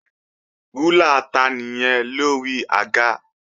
Rúlà ta nìyẹn lórí àga?